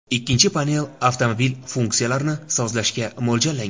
Ikkinchi panel avtomobil funksiyalarini sozlashga mo‘ljallangan.